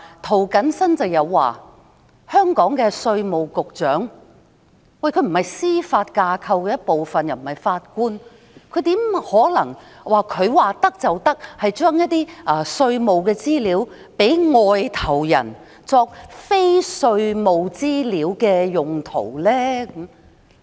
涂謹申議員表示，香港稅務局局長既不是司法架構的一部分亦不是法官，怎可能他說沒有問題，就把一些稅務資料交給外國人作非稅務資料的用途呢？